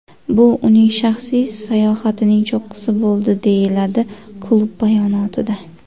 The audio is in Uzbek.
Bu uning shaxsiy sayohatining cho‘qqisi bo‘ldi”, deyiladi klub bayonotida.